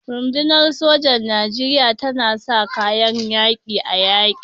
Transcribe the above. Rundunar sojan Nijeriya ta sa kayan yaƙi a yaƙin.